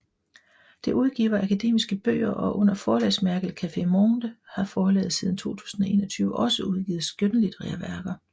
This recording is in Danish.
Det udgiver akademiske bøger og under forlagsmærket Café Monde har forlaget siden 2021 også udgivet skønlitterære værker